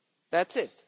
That's it.